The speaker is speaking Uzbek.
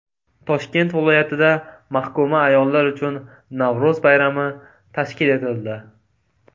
Toshkent viloyatida mahkuma ayollar uchun Navro‘z bayrami tashkil etildi .